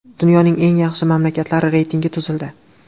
Dunyoning eng yaxshi mamlakatlari reytingi tuzildi.